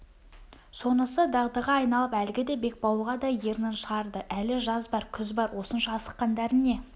сонысы дағдыға айналып әлгіде бекбауылға да ернін шығарды әлі жаз бар күз бар осынша асыққандарың не